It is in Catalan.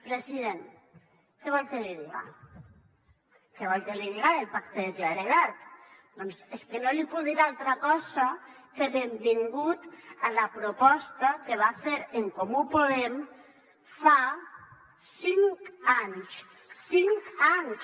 president què vol que li diga què vol que li diga del pacte de claredat doncs és que no li puc dir altra cosa que benvingut a la proposta que va fer en comú podem fa cinc anys cinc anys